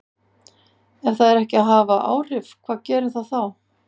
Ef það er ekki að hafa áhrif, hvað gerir það þá?